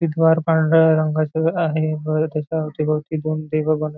ते द्वार पांढऱ्या रंगाच आहे बरं त्याच्या अवति भवती दोन --